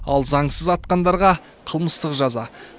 ал заңсыз атқандарға қылмыстық жаза